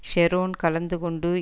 Sharon கலந்து கொண்டு